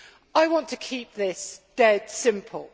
I want to keep this dead simple.